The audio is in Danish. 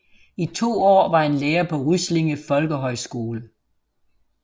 I to år var han lærer på Ryslinge Folkehøjskole